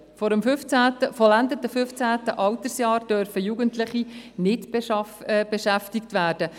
Vor dem vollendeten 15. Altersjahr dürfen Jugendliche nicht beschäftigt werden.